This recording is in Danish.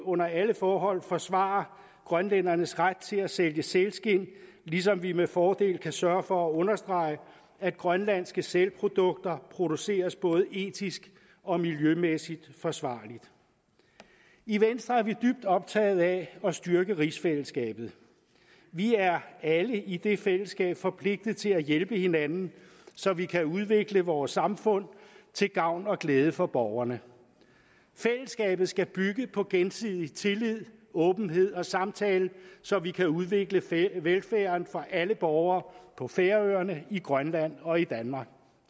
under alle forhold forsvare grønlændernes ret til at sælge sælskind ligesom vi med fordel kan sørge for at understrege at grønlandske sælprodukter produceres både etisk og miljømæssigt forsvarligt i venstre er vi dybt optaget af at styrke rigsfællesskabet vi er alle i det fællesskab forpligtet til at hjælpe hinanden så vi kan udvikle vores samfund til gavn og glæde for borgerne fællesskabet skal bygge på gensidig tillid åbenhed og samtale så vi kan udvikle velfærden for alle borgere på færøerne i grønland og i danmark